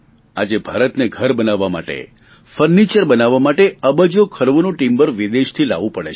આજે ભારતને ઘર બનાવવા માટે ફર્નીચર બનાવવા માટે અબજોખર્વોનું ટિમ્બર વિદેશથી લાવવું પડે છે